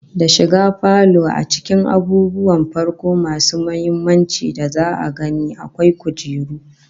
Da shiga falo a cikin abubuwan farko masu muhimmanci da za'a gani, akwai kujeru